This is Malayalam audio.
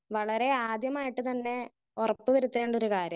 സ്പീക്കർ 1 വളരെ ആദ്യമായിട്ട് തന്നെ ഉറപ്പ് വരുത്തേണ്ടൊരു കാര്യാണ്.